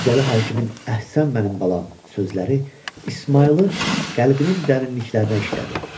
Mirzəli hakimin "Əhsən mənim balam!" sözləri İsmayılın qəlbinin dərinliklərinə işlədi.